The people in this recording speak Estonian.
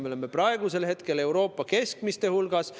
Me oleme praegu Euroopa keskmiste hulgas.